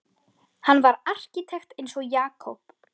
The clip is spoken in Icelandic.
Hann var arkitekt eins og Jakob.